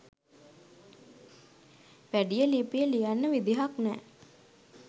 වැඩිය ලිපිය ලියන්න විදිහක් නැ